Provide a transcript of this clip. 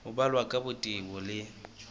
ho balwa ka botebo le